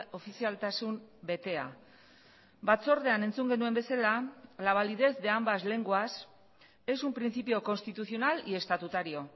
ofizialtasun betea batzordean entzun genuen bezala la validez de ambas lenguas es un principio constitucional y estatutario